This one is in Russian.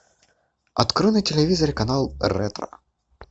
открой на телевизоре канал ретро